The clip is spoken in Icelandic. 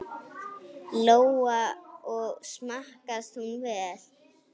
Lóa: Og smakkast hún vel?